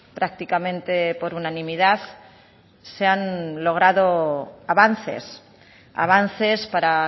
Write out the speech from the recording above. prácticamente por unanimidad se han logrado avances avances para